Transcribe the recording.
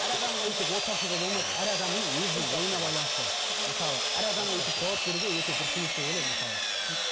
әр адамға өйтіп от шашуға болмайды әр адамның өзінің ойына байланысты мысалы әр адамға өйтіп жауап беруге өте дұрыс емес деп ойлаймын мысалы сіз